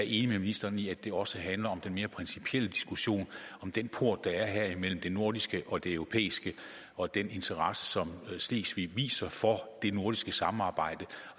enig med ministeren i at det også handler om den mere principielle diskussion om den port der er her imellem det nordiske og det europæiske og den interesse som slesvig viser for det nordiske samarbejde